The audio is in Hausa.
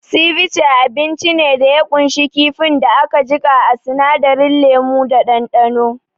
Sivice abinci ne da ya kunshi kifin da aka jika a sinadarin lemu da ɗanɗano